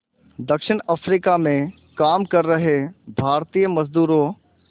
दक्षिण अफ्रीका में काम कर रहे भारतीय मज़दूरों